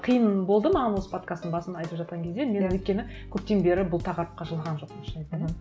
қиын болды маған осы подкасттың басын айтып жатқан кезде мен өйткені көптен бері бұл тақырыпқа жолаған жоқпын шын айтайын